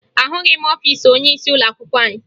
Ahụghị m ọfiisi onyeisi ụlọakwụkwọ anyị